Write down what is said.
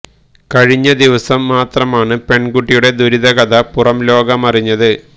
കഴിഞ്ഞ ദിവസം മാത്രമാണ് പെണ്കുട്ടിയുടെ ദുരിത കഥ പുറം ലോകമറിഞ്ഞത്